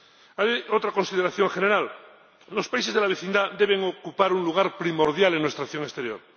Hay otra consideración general los países de la vecindad deben ocupar un lugar primordial en nuestra acción exterior.